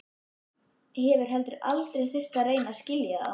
Hefur heldur aldrei þurft að reyna að skilja þá.